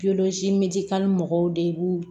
mɔgɔw de b'u